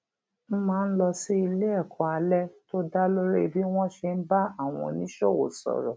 n máa lọ sí iléèkó alé tó dá lórí bí wón ṣe ń bá àwọn oníṣòwò sòrò